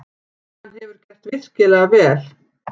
Hann hefur gert virkilega vel.